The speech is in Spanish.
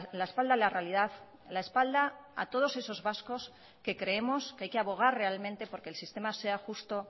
la espalda a la realidad la espalda a todos esos vascos que creemos que hay que abogar realmente porque el sistema sea justo